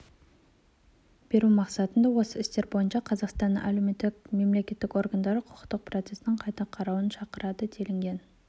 беру мақсатында осы істер бойынша қазақстанның уәкілетті мемлекеттік органдарын құқықтық процестің қайта қарауды шақырады делінген